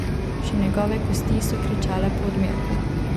Še njegove kosti so kričale po odmerku.